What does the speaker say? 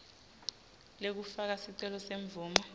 lekufaka sicelo semvumo